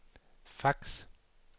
fax